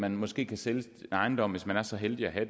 man måske kan sælge sin ejendom hvis man er så heldig at have